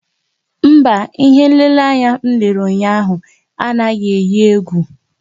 Mba, ihé nlélé anyị lere ụnyaahụ anaghị eyi égwú